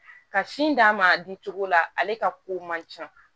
Ka sin d'a ma a di cogo la ale ka ko man ca